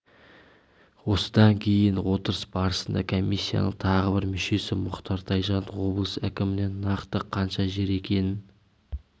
осындан кейін отырыс барысында комиссияның тағы бір мүшесі мұхтар тайжан облыс әкімінен нақты қанша жер екенін